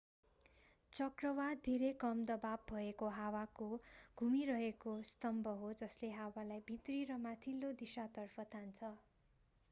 चक्रवात धेरै कम दबाव भएको हावाको घुमिरहेको स्तम्भ हो जसले हावालाई भित्री र माथिल्लो दिशातर्फ तान्छ